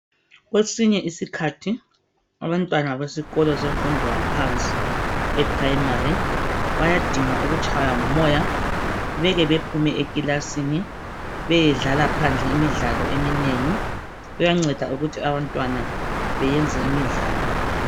Kwesinye isikhathi abantwana besikolo semfundo yaphansi e primary bayadinga ukutshaywe ngumoya mele bephume ekilasini beyedlala phandle imidlalo eminengi, kuyanceda ukuthi abantwana bayenze imidlalo.